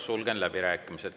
Sulgen läbirääkimised.